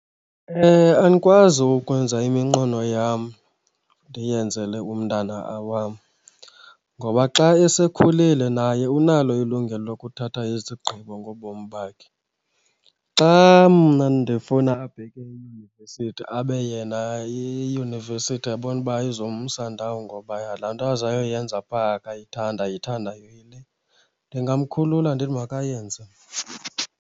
Andikwazi ukwenza iminqweno yam ndiyenzele umntana wam ngoba xa esekhulile naye unalo ilungelo lokuthatha izigqibo ngobomi bakhe. Xa mna ndifuna abheke eyunivesithi abe yena iyunivesithi ebona uba eyizumsa ndawo ngoba laa nto aza yoyenza phaa akayithandi ayithandayo yile, ndingamkhulula ndithi makayenze.